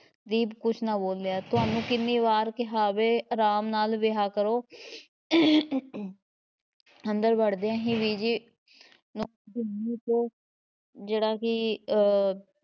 ਦੀਪ ਕੁਝ ਨਾ ਬੋਲਿਆ ਤੁਹਾਨੂੰ ਕਿੰਨੀ ਵਾਰ ਕਿਹਾ ਵੇ, ਅਰਾਮ ਨਾਲ਼ ਬਿਹਾ ਕਰੋ ਅੰਦਰ ਵੜਦਿਆਂ ਹੀ ਬੀਜੀ ਜਿਹੜਾ ਕਿ ਅਹ